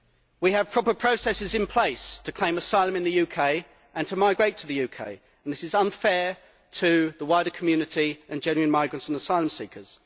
We have proper processes in place to claim asylum in the UK and to migrate to the UK, and this is unfair to the wider community and to genuine migrants and asylum seekers.